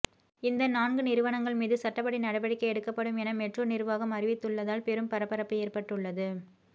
இந்த நான்கு நிறுவனங்கள் மீது சட்டப்படி நடவடிக்கை எடுக்கப்படும் என மெட்ரோ நிர்வாகம் அறிவித்துள்ளதால் பெரும் பரபரப்பு ஏற்பட்டுள்ளது